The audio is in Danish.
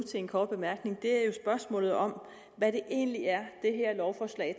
en kort bemærkning er spørgsmålet om hvad det egentlig er det her lovforslag